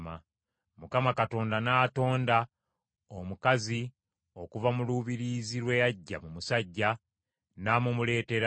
Mukama Katonda n’atonda omukazi okuva mu lubiriizi lwe yaggya mu musajja n’amumuleetera.